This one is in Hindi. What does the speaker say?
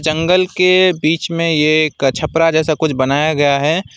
जंगल के बीच में एक छपरा जैसा कुछ बनाया गया है।